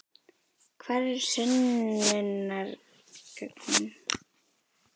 Hvar eru sönnunargögnin?